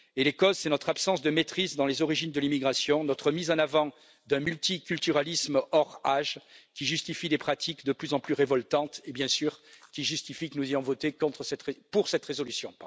Et les causes, c'est notre absence de maîtrise dans les origines de l'immigration, notre mise en avant d'un multiculturalisme hors d'âge qui justifie des pratiques de plus en plus révoltantes et, bien sûr, qui justifie que nous ayons voté pour cette résolution.